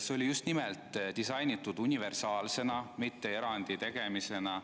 See oli just nimelt disainitud universaalsena, mitte erandi tegemisena.